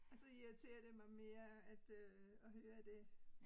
Og så irriterer det mig mere at øh at høre det